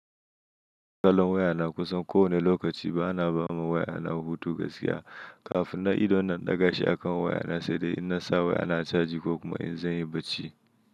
Kallon wayana kusan kowane lokaci, ba'a ba ma wayana hutu gaskiya. Kafin nan idon nan in daga shi akan wayana, sai dai in na sa wayana caji ko kuma in zanyi barci.